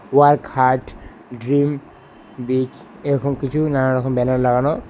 Work hard dream big এরকম কিছু নানারকম ব্যানার লাগানো।